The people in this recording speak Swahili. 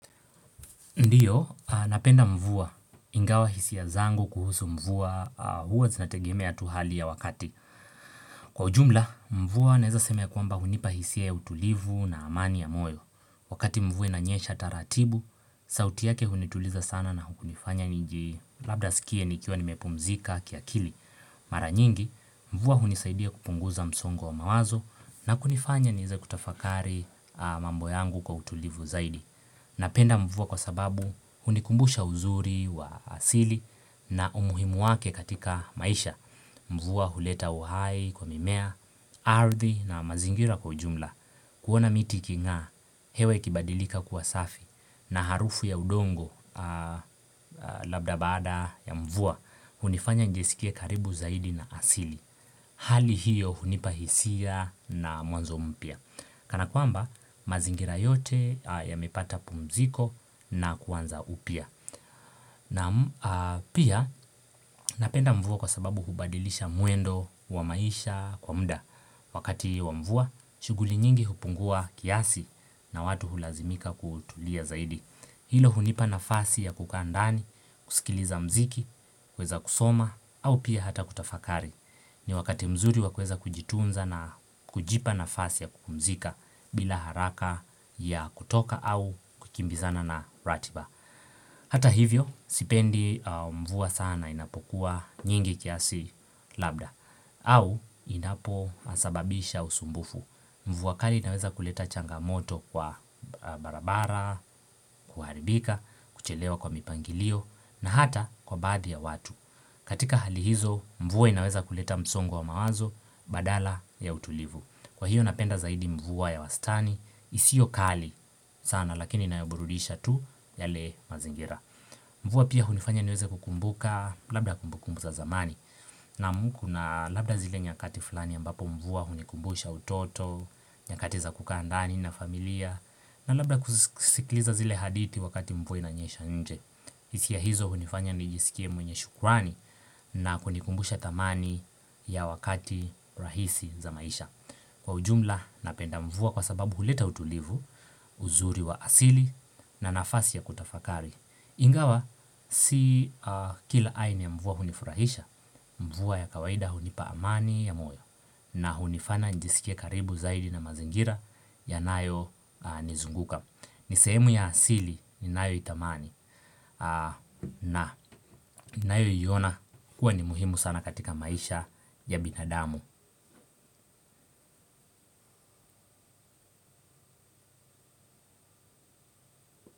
Ndiyo, napenda mvua ingawa hisiya zangu kuhusu mvua huwa zinategemea tuhali ya wakati. Kwa ujumla, mvua naeza sema ya kwamba hunipa hisi ya utulivu na amani ya moyo. Wakati mvua inanyesha taratibu, sauti yake hunituliza sana na hunifanya niji labda sikie nikiwa nimepumzika kiakili. Mara nyingi, mvua hunisaidia kupunguza msongo wa mawazo na kunifanya nieze kutafakari mambo yangu kwa utulivu zaidi. Napenda mvua kwa sababu hunikumbusha uzuri wa asili na umuhimu wake katika maisha. Mvua huleta uhai kwa mimea, ardhi na mazingira kwa ujumla. Kuona miti ikinga, hewa ikibadilika kuwa safi na harufu ya udongo labda bada ya mvua hunifanya nijisikia karibu zaidi na asili. Hali hiyo hunipa hisia na mwanzo mpya Kana kwamba mazingira yote yamepata pumziko na kuanza upya na pia napenda mvua kwa sababu hubadilisha mwendo wa maisha kwa muda Wakati wa mvua, shughuli nyingi hupungua kiasi na watu hulazimika kutulia zaidi Hilo hunipa nafasi ya kukaa ndani, kusikiliza mziki, kuweza kusoma au pia hata kutafakari ni wakati mzuri wakueza kujitunza na kujipa nafasi ya kupumzika bila haraka ya kutoka au kukimbizana na ratiba Hata hivyo sipendi mvua sana inapokuwa nyingi kiasi labda au inapo sababisha usumbufu mvua kali inaweza kuleta changamoto kwa barabara, kuharibika, kuchelewa kwa mipangilio na hata kwa baadhi ya watu katika hali hizo mvua inaweza kuleta msongo wa mawazo badala ya utulivu. Kwa hiyo napenda zaidi mvua ya wastani isio kali sana lakini inayoburudisha tu yale mazingira. Mvua pia hunifanya niweze kukumbuka labda kumbukumbu za zamani naam kuna labda zile nyakati flani ambapo mvua hunikumbusha utoto, nyakati za kukandani na familia na labda kusikiliza zile hadithi wakati mvua inanyesha inje. Hisia hizo hunifanya nijisikie mwenye shukrani na kunikumbusha thamani ya wakati rahisi za maisha kwa ujumla napenda mvua kwa sababu huleta utulivu, uzuri wa asili na nafasi ya kutafakari Ingawa, si kila aina ya mvua hunifurahisha, mvua ya kawaida hunipa amani ya moyo na hunifanya nijisikie karibu zaidi na mazingira yanayo nizunguka Nisehemu ya asili ni nayo itamani nayo iona kuwa ni muhimu sana katika maisha ya binadamu.